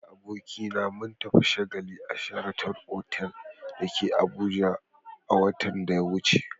Ni da abokina mun tafi shagali a "sheraton" otal da ke Abuja a watan da ya wuce.